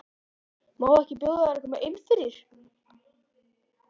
Má ekki bjóða þér að koma inn fyrir?